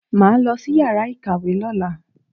Màá lọ sí yàrá ìkàwé lọ́la.